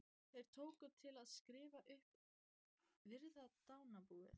Þeir tóku til við að skrifa upp og virða dánarbúið.